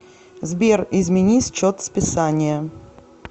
сбер измени счет списания